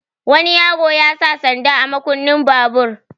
Wani yaro ya sa sanda a makunnin babur.